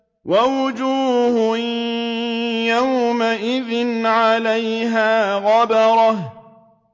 وَوُجُوهٌ يَوْمَئِذٍ عَلَيْهَا غَبَرَةٌ